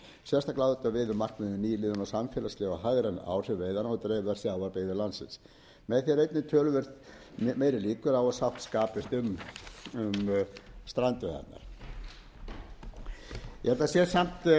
á þetta við um markmiðin um nýliðun á samfélagsleg og hagræn áhrif veiðanna og dreifðar sjávarbyggðir landsins með því er einnig töluvert meiri líkur á að